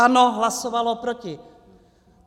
ANO hlasovalo proti.